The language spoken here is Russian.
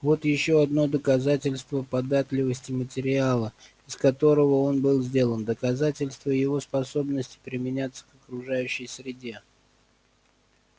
вот ещё одно доказательство податливости материала из которого он был сделан доказательство его способности применяться к окружающей среде